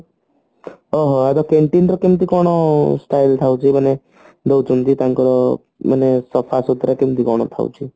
ଓ ହୋ ଏବେ canteen ରେ କେମତି କଣ style ଥାଉଛି ମାନେ ଦଉଛନ୍ତି ତାଙ୍କର ମାନେ ସଫାସୁତୁରା କେମତି କଣ ଥାଉଛି